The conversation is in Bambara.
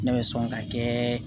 Ne bɛ sɔn ka kɛ